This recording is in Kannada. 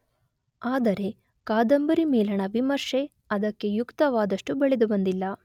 ಆದರೆ ಕಾದಂಬರಿ ಮೇಲಣ ವಿಮರ್ಶೆ ಅದಕ್ಕೆ ಯುಕ್ತವಾದಷ್ಟು ಬೆಳೆದುಬಂದಿಲ್ಲ